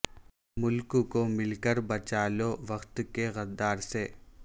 ملک کو مل کر بچالو وقت کے غدار سے